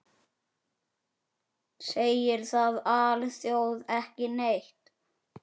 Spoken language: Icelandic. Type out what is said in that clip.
Segir það alþjóð ekki neitt?